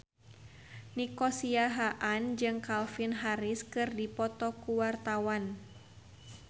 Nico Siahaan jeung Calvin Harris keur dipoto ku wartawan